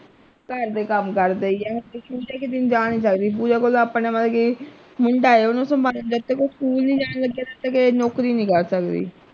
ਘਰ ਦਾ ਕੰਮ ਕਰਦੇ ਈ ਹੈ ਤੇ ਪੂਜਾ ਕਿਤੇ ਜਾ ਨਹੀਂ ਸਕਦੀ ਪੂਜਾ ਕੋਲ ਆਪਣਾ ਆ ਕੇ ਮੁੰਡਾ ਏ ਓਹਨੂੰ ਸੰਭਾਲਣਾ ਜਦ ਤੱਕ ਉਹ school ਨਹੀਂ ਜਾਣ ਲੱਗਿਆ ਤਦ ਤੱਕ ਇਹ ਨੌਕਰੀ ਨਹੀਂ ਕਰ ਸਕਦੀ।